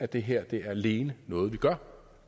det her er alene noget vi gør